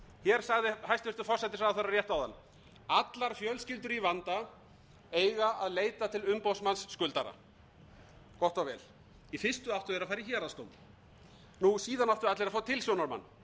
hér sagði hæstvirtur forsætisráðherra rétt áðan allar fjölskyldur í vanda eiga að leita til umboðsmanns skuldara gott og vel í fyrstu áttu þeir að fara í héraðsdóm síðan áttu allir að fá tilsjónarmann